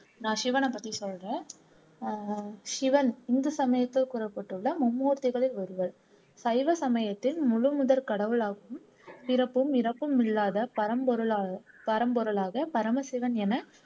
நான் சிவனை பத்தி சொல்றேன் ஆஹ் சிவன் இந்து சமயத்தில் கூறப்பட்டுள்ள மும்மூர்த்திகளில் ஒருவர் சைவ சமயத்தின் முழுமுதற் கடவுளாகவும் பிறப்பும் இறப்பும் இல்லாத பரம்பொருளா பரம்பொருளாக பரமசிவன் என